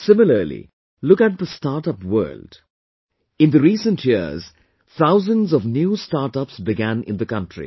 Similarly, look at the startup world, in the recent years, thousands of new startups began in the country